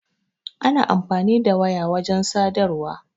Ana amfani da waya wajen sadarwa.